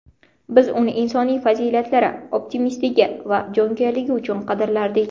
Biz uni insoniy fazilatlari, optimistligi va jonkuyarligi uchun qadrlardik.